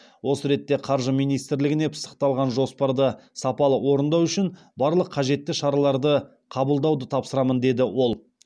осы ретте қаржы министрлігіне пысықталған жоспарды сапалы орындау үшін барлық қажетті шараларды қабылдауды тапсырамын деді ол